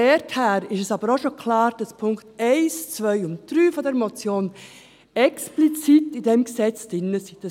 Daher ist aber auch schon klar, dass die Punkte 1, 2 und 3 dieser Motion explizit in diesem Gesetz enthalten sind.